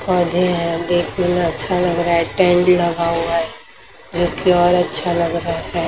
पौधे हैं देखने में अच्छा लग रहा है टेंट लगा हुआ है जोकि और अच्छा लग रहा है।